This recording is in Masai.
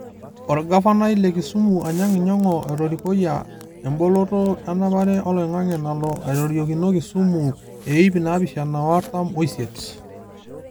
Olgavanai le Kisumu Anyang’ Nyong’o etorikoia emboloto enapare oloingange nalo aitoriokino Kisumu e iip naapishana o artam osiet.